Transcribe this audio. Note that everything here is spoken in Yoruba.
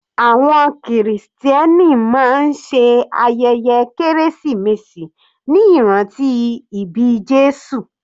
Àwọn krìstẹ́nì máa ṣe ayẹyẹ kérésìmesì ní ìrántí ìbí Jésù.